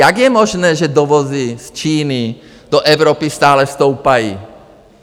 Jak je možné, že dovozy z Číny do Evropy stále stoupají?